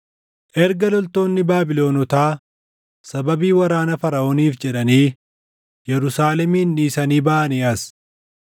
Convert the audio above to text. Erga loltoonni Baabilonotaa sababii waraana Faraʼooniif jedhanii Yerusaalemin dhiisanii baʼanii as,